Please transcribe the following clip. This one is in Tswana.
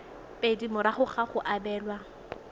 pedi morago ga go abelwa